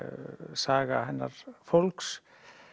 saga hennar fólks